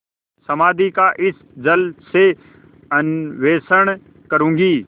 समाधि का इस जल से अन्वेषण करूँगी